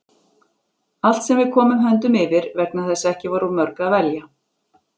Allt sem við komum höndum yfir, vegna þess að ekki var úr mörgu að velja.